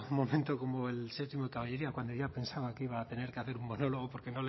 momento como el séptimo de caballería cuando ya pensaba que iba a tener que hacer un monólogo porque